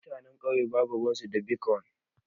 Mutanen kauye babu ruwan su da bitkwon.